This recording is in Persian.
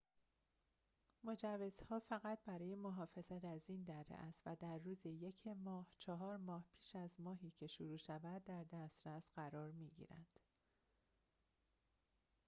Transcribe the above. مجوزها فقط برای محافظت از این دره است و در روز ۱ ماه چهار ماه پیش از ماهی که شروع می‌شود در دسترس قرار می‌گیرند